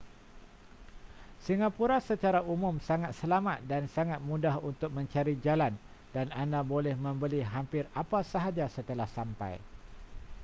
singapura secara umum sangat selamat dan sangat mudah untuk mencari jalan dan anda boleh membeli hampir apa sahaja setelah sampai